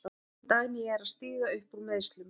Dagný er að stíga upp úr meiðslum.